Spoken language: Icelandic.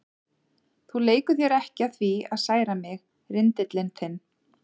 Þú leikur þér ekki að því að særa mig, rindillinn þinn.